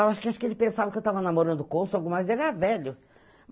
Acho que ele pensava que eu estava namorando o cônsul, mas ele era velho.